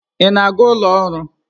Ị na-aga ụlọ ọrụ?